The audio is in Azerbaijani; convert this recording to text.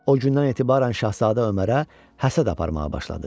O gündən etibarən şahzadə Ömərə həsəd aparmağa başladı.